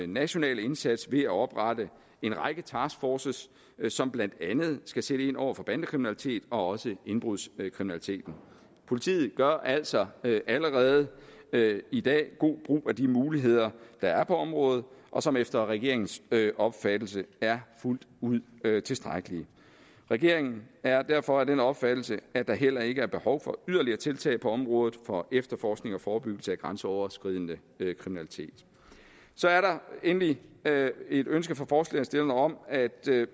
nationale indsats ved at oprette en række taskforces som blandt andet skal sætte ind over for bandekriminalitet og også indbrudskriminalitet politiet gør altså allerede i dag god brug af de muligheder der er på området og som efter regeringens opfattelse er fuldt ud tilstrækkelige regeringen er derfor af den opfattelse at der heller ikke er behov for yderligere tiltag på området for efterforskning og forebyggelse af grænseoverskridende kriminalitet så er der endelig et ønske fra forslagsstillerne om at